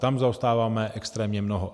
Tam zaostáváme extrémně mnoho.